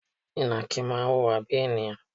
Ìnàkí máa ń wùwà bíi ènìyàn.